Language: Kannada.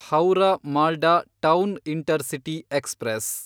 Howrah Malda town intercity express